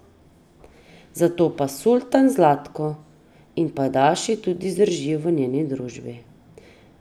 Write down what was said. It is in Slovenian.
Zato pa Sultan Zlatko in pajdaši tudi zdržijo v njeni družbi.